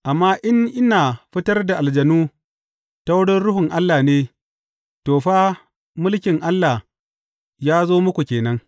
Amma in ina fitar da aljanu ta wurin Ruhun Allah ne, to, fa, mulkin Allah ya zo muku ke nan.